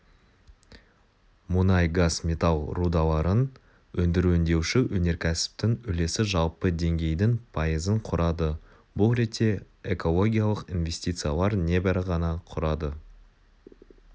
мұнай газ металл рудаларын өндіру өңдеуші өнеркәсіптің үлесі жалпы деңгейдің пайызын құрады бұл ретте экологиялық инвестициялар небәрі ғана құрады